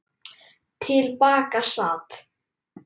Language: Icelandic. Til baka sat